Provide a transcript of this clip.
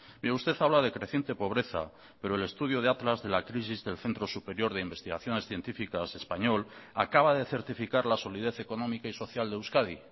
mire usted habla de creciente pobreza pero el estudio de atlas de la crisis del centro superior de investigaciones científicas español acaba de certificar la solidez económica y social de euskadi